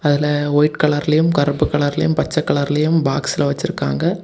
இதுல ஒயிட் கலர்லயும் கருப்பு கலரையும் பச்சை கலர்லயும் பாக்ஸ்ல வச்சிருக்காங்க.